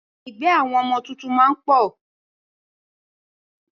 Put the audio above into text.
Igbe àwọn ọmọ tuntun máa ń pọ̀